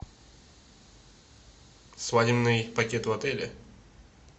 свадебный пакет в отеле